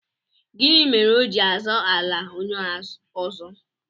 Gịnị mere o ji azọ ala onye ọzọ?